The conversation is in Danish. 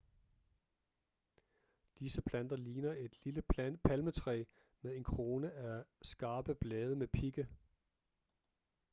disse planter ligner et lille palmetræ med en krone af skarpe blade med pigge